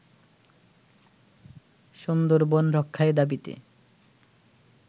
সুন্দরবন রক্ষায় দাবিতে